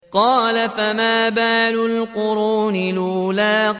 قَالَ فَمَا بَالُ الْقُرُونِ الْأُولَىٰ